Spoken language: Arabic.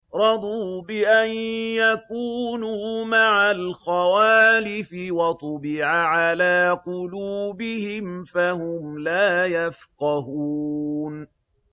رَضُوا بِأَن يَكُونُوا مَعَ الْخَوَالِفِ وَطُبِعَ عَلَىٰ قُلُوبِهِمْ فَهُمْ لَا يَفْقَهُونَ